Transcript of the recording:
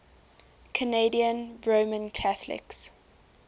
canadian roman catholics